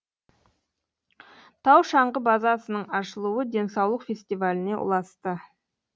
тау шаңғы базасының ашылуы денсаулық фестиваліне ұласты